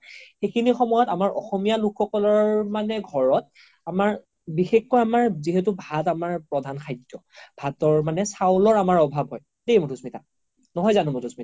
সিখিনি সময়ত আমাৰ অসমীয়া লোক সকলৰ মানে ঘৰত আমাৰ বিষেসকে আমাৰ যিহেতু ভাত আমাৰ প্ৰধান খাদ্য ভাতৰ মানে চাউলৰ আমাৰ অভাৱ হয় দেই মাধুস্মিতা নহয় জানো মাধুস্মিতা ?